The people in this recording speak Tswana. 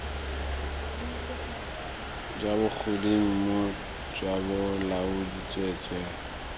kwa bogodimong jwa bolaodi tsweetswee